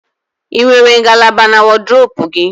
Ị nwere ngalaba na wọdụrobu gị?